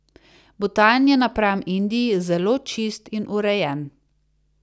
Butan je napram Indiji zelo čist in urejen.